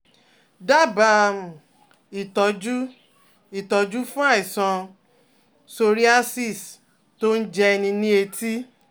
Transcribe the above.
Dábàá um ìtọ́jú ìtọ́jú fún àìsàn psoriasis tó ń jẹni ní etí